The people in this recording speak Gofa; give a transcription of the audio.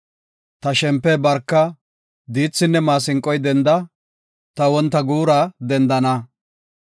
Ta shempe, barka; diithinne maasinqoy denda; Ta wonta guura dendana.